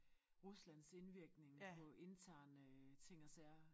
Ruslands indvirkning på interne ting og sager